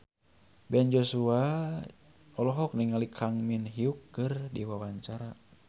Ben Joshua olohok ningali Kang Min Hyuk keur diwawancara